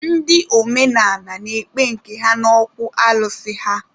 Ndị omenaala na-ekpe nke ha n'okwu alụsị ha.